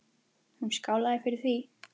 Hún skálaði fyrir því.